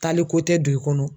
Taliko tɛ don i kɔnɔ.